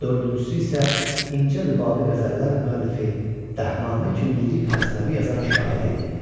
dördüncüsü isə incə rübabi qəzəllər müəllifi, Dəhnamə kimi lirik məsnəvi yazan şair idi.